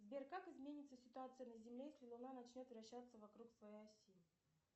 сбер как изменится ситуация на земле если луна начнет вращаться вокруг своей оси